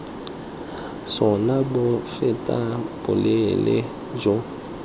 sona bo fetang boleele jo